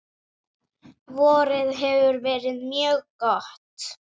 Vorið hefur verið mjög gott.